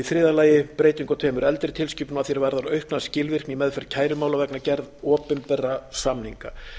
í þriðja lagi breytingu á tveimur eldri tilskipunum að því er varðar aukna skilvirkni í meðferð kærumála vegna gerð opinberra samninga